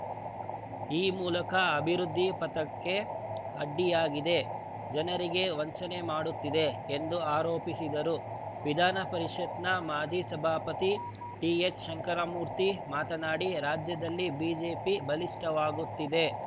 ಈ ಮೂಲಕ ಅಭಿವೃದ್ಧಿ ಪಥಕ್ಕೆ ಅಡ್ಡಿಯಾಗಿದೆ ಜನರಿಗೆ ವಂಚನೆ ಮಾಡುತ್ತಿದೆ ಎಂದು ಆರೋಪಿಸಿದರು ವಿಧಾನಪರಿಷತ್‌ನ ಮಾಜಿ ಸಭಾಪತಿ ಡಿಎಚ್‌ಶಂಕರಮೂರ್ತಿ ಮಾತನಾಡಿ ರಾಜ್ಯದಲ್ಲಿ ಬಿಜೆಪಿ ಬಲಿಷ್ಠವಾಗುತ್ತಿದೆ